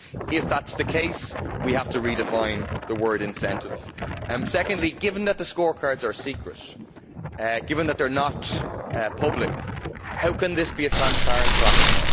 If that is the case, we have to redefine the word incentive'. Secondly, given that the scorecards are secret, that they are not public, how can this be a transparent process?